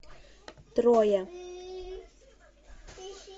троя